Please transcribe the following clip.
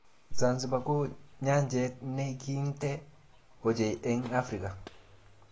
Zanzibar ko nyanjet ne kintee ochei eng Afrika.